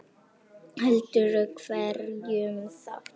Heldur hverjum þá?